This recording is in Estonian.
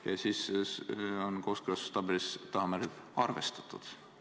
Ja siis on kooskõlastustabelis taha märgitud: arvestatud.